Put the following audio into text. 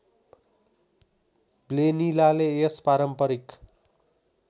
ब्लेनिलाले यस पारम्परिक